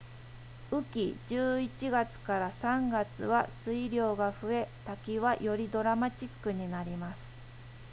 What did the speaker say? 雨季11月 ～3 月は水量が増え滝はよりドラマチックになります